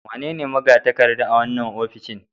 Wanene magatakarda a wannan ofishin